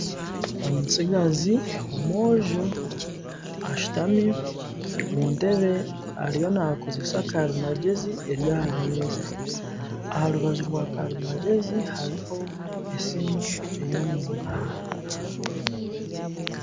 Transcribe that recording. Omutsigazi omwojo ashutami omu ntebe ariyo naakozesa karimagyezi eri aha meeza aha rubaju rwa karimagyezi hariho esimu ey'omungaro